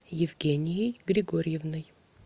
евгенией григорьевной